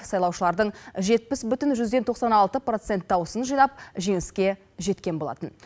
сайлаушылардың жетпіс бүтін жүзден тоқсан алты процент дауысын жинап жеңіске жеткен болатын